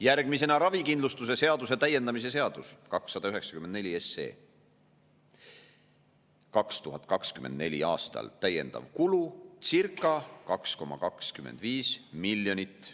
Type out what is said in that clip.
Järgmine, ravikindlustuse seaduse täiendamise seaduse eelnõu 294: 2024. aastal täiendav kulu circa 2,25 miljonit.